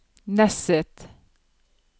Nesset